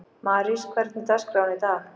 Marís, hvernig er dagskráin í dag?